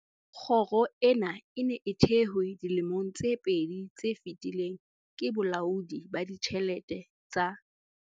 Kgoro ena e ne e thehwe dilemong tse pedi tse fetileng ke Bolaodi ba Ditjhelete tsa